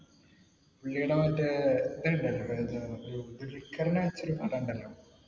പുള്ളീടെ മറ്റേ